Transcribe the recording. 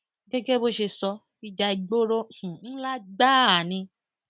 gẹgẹ bó ṣe sọ ìjà ìgboro um ńlá gbáà ni